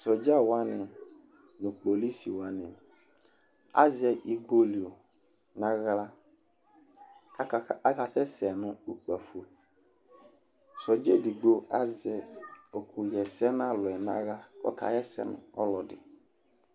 sɔdza wʋani nu polisi wʋani azɛ igbolʋi nu aɣla kaka, aka sɛsɛ nu ukpafo, sɔdza edigbo azɛ uku yɛsɛ nu alu yɛ nu aɣla ku ɔka Yɛsɛ nu ɔlɔdi